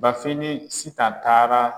Bafin ni Sitan taara